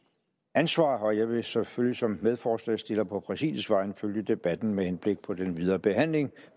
ansvar og jeg vil selvfølgelig som medforslagsstiller på præsidiets vegne følge debatten med henblik på den videre behandling